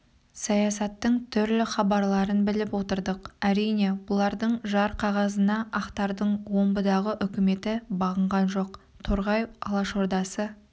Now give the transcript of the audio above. саясаттың түрлі хабарларын біліп отырдық әрине бұлардың жар қағазына ақтардың омбыдағы үкіметі бағынған жоқ торғай алашордасы